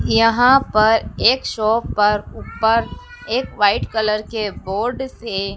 यहां पर एक शॉप पर ऊपर एक व्हाइट कलर के बोर्ड से--